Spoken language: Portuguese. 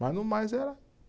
Mas no mais era.